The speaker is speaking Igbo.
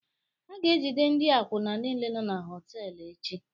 A ga-ejide ndị akwụna niile nọ na họtel echi